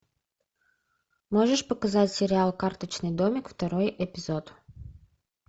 можешь показать сериал карточный домик второй эпизод